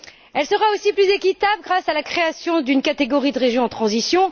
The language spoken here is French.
Elle sera aussi plus équitable, grâce à la création d'une catégorie de régions en transition.